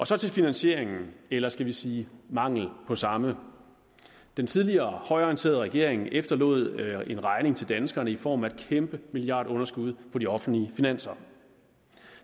så til finansieringen eller skal vi sige mangelen på samme den tidligere højreorienterede regering efterlod en regning til danskerne i form af et kæmpe milliardunderskud på de offentlige finanser